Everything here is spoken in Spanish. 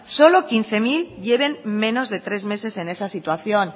solo quince mil lleven menos de tres meses en esa situación